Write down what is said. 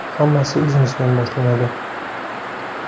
Hammasi o‘zimizdan boshlanadi!